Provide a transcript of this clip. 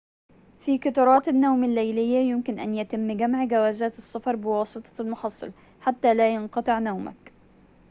في قطارات النوم الليلية يمكن أن يتم جمع جوازات السفر بواسطة المحصل حتى لا ينقطع نومك